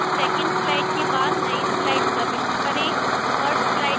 2nd slide के बाद नई slide प्रविष्ट करें